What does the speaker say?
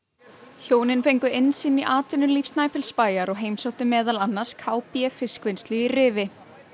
hjónin fengu innsýn í atvinnulíf Snæfellsbæjar og heimsóttu meðal annars k b fiskvinnslu í Rifi